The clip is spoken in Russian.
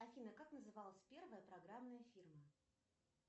афина как называлась первая программная фирма